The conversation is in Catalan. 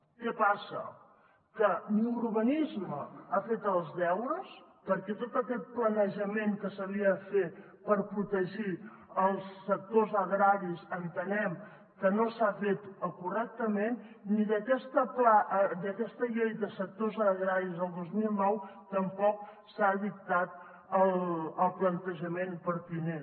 què passa que ni urbanisme ha fet els deures perquè tot aquest planejament que s’havia de fer per protegir els sectors agraris entenem que no s’ha fet correctament ni d’aquesta llei de sectors agraris del dos mil nou tampoc se n’ha dictat el plantejament pertinent